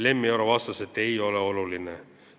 Lemmi Oro vastas, et ei ole oluline.